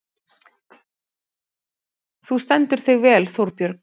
Þú stendur þig vel, Þórbjörg!